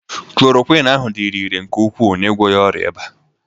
Kloroquiñ ahụ dịrị irè nke ukwuu n'ịgwọ ya ọrịa ịba